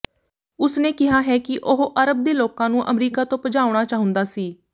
ਉਸਨੇ ਕਿਹਾ ਹੈ ਕਿ ਉਹ ਅਰਬ ਦੇ ਲੋਕਾਂ ਨੂੰ ਅਮਰੀਕਾ ਤੋਂ ਭਜਾਉਣਾ ਚਾਹੁੰਦਾ ਸੀ